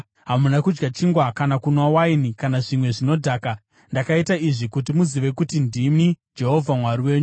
Hamuna kudya chingwa kana kunwa waini kana zvimwe zvinodhaka. Ndakaita izvi kuti muzive kuti ndini Jehovha Mwari wenyu.